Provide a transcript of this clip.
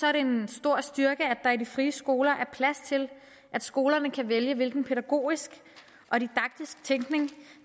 er det en stor styrke at der i de frie skoler er plads til at skolerne kan vælge hvilken pædagogisk og didaktisk tænkning